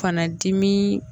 Fana dimi